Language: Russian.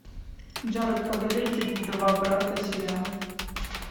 джаред падалеки два брата сериал